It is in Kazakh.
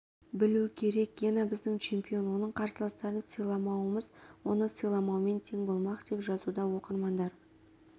білу керек гена біздің чемпион оның қарсыластарын сыйламауымыз оны сыйламаумен тең болмақ деп жазуда оқырмандар